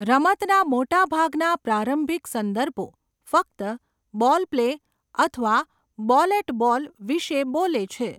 રમતના મોટાભાગના પ્રારંભિક સંદર્ભો ફક્ત 'બોલ પ્લે' અથવા 'બોલ એટ બોલ' વિશે બોલે છે.